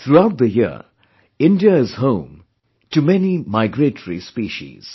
Throughout the year, India is home to many migratory species